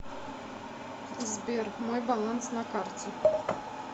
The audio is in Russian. сбер мой баланс на карте